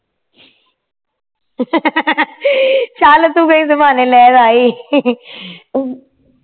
ਚੱਲ ਤੂੰ ਇਸੇ ਬਹਾਨੇ ਲੈਣ ਆਈ